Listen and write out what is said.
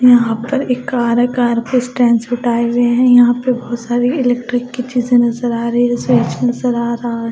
यहां पर एक कार है कार को स्टैंड आए हुए हैं यहां पे बहोत सारी इलेक्ट्रिक कि चीजे नजर आ रही है स्विच नज़र आ रहा--